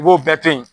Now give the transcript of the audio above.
I b'o bɛɛ to yen